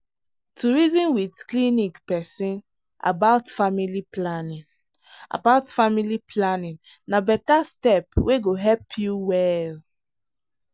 to reason with clinic person about family planning about family planning na better step wey go help you well.